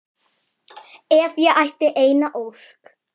Ef ég ætti eina ósk.